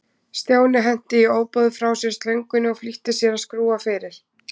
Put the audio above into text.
Stjáni henti í ofboði frá sér slöngunni og flýtti sér að skrúfa fyrir.